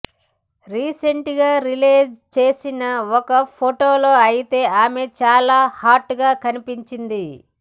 రీసెంట్గా రిలీజ్ చేసిన ఒక ఫొటోలో అయితే ఈమె చాలా హాట్గా కనిపించింది